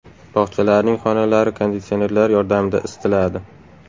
Bog‘chalarning xonalari konditsionerlar yordamida isitiladi.